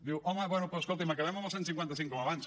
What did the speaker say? diu home bé doncs escolti’m acabem amb el cent i cinquanta cinc com abans